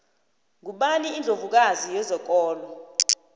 ngubani indlovu kazi yezokolo